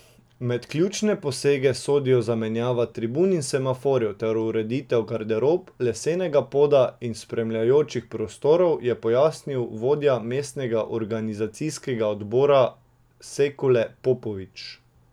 Med ključne posege sodijo zamenjava tribun in semaforjev ter ureditev garderob, lesenega poda in spremljajočih prostorov, je pojasnil vodja mestnega organizacijskega odbora Sekule Popovič.